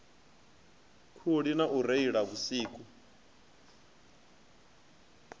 khuli na u reila vhusiku